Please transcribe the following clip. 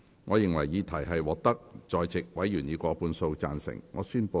我認為議題獲得在席議員以過半數贊成。